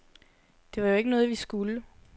Det var jo ikke noget, vi skulle.